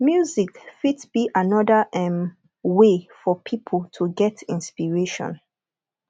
music fit be anoda um way for pipo to get inspiration